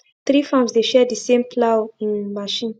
three farms dey share the same plough um machine